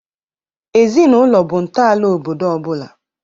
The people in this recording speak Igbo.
Ezinaụlọ bụ ntọala obodo ọ bụla.